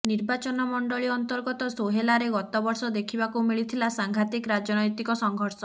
ନିର୍ବାଚନମଣ୍ଡଳୀ ଅନ୍ତର୍ଗତ ସୋହେଲାରେ ଗତବର୍ଷ ଦେଖିବାକୁ ମିଳିଥିବା ସାଂଘାତିକ ରାଜନ୘ତିକ ସଂଘର୍ଷ